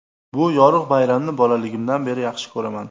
Bu yorug‘ bayramni bolaligimdan beri yaxshi ko‘raman.